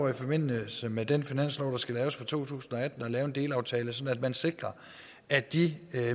i forbindelse med den finanslov der skal laves for to tusind og atten at lave en delaftale sådan at man sikrer at de